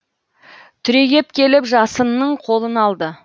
түрегеп келіп жасынның қолын алды